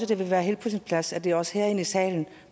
det ville være helt på sin plads at det også var herinde i salen